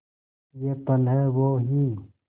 ये पल हैं वो ही